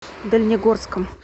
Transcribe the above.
дальнегорском